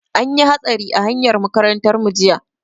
An yi hatsari a hanyar makarantar mu jiya.